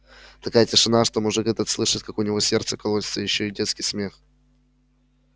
такая тишина что мужик этот слышит как у него сердце колотится и ещё этот детский смех